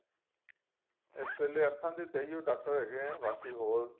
ਇਸ ਵੇਲੇ ਤਾਂ ਅੱਖਾਂ ਦੇ ਏਹੋ ਡਾਕਟਰ ਹੈਗੇ ਏ ਬਾਕੀ ਔਰ